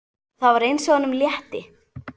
Það var eins og honum létti.